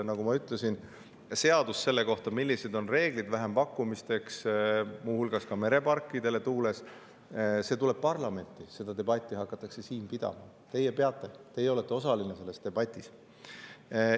Nagu ma ütlesin, seadus selle kohta, millised on vähempakkumiste reeglid, muu hulgas meretuuleparkide puhul, tuleb parlamenti, seda debatti hakatakse siin pidama – teie peate, teie olete osaline selles debatis.